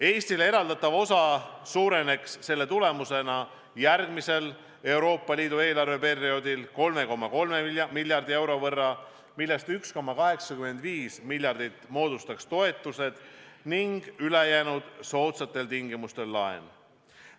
Eestile eraldatav osa suureneks selle tulemusena järgmisel Euroopa Liidu eelarveperioodil 3,3 miljardi euro võrra, millest 1,85 miljardit moodustaks toetused ning ülejäänu soodsatel tingimustel antav laen.